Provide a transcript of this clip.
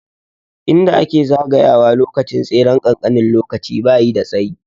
Inda ake zagaya wa lokacin tseren kankanin lokaci bayi da tsayi